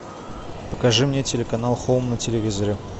покажи мне телеканал хоум на телевизоре